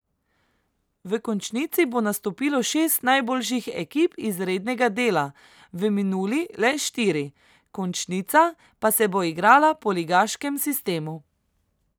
V končnici bo nastopilo šest najboljših ekip iz rednega dela, v minuli le štiri, končnica pa se bo igrala po ligaškem sistemu.